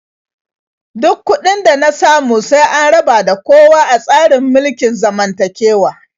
Duk kuɗin da na samu sai an raba da kowa a tsarin mulkin zamantakewa.